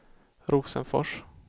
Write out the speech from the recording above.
Rosenfors